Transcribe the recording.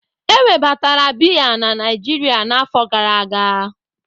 Ewebatara bịyà na Naijiria na afọ gara aga.